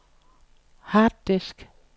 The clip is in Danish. harddisk